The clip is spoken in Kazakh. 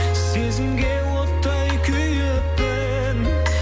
сезімге оттай күйіппін